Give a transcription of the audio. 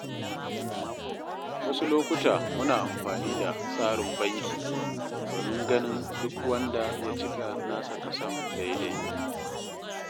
Wasu lokuta muna amfani da tsarin banki domin ganin duk wanda ya cika nasa kason daidai.